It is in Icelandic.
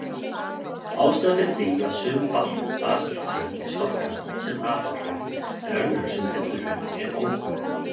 Ástæðan fyrir því að sum basalthraun storkna sem apalhraun en önnur sem helluhraun er ókunn.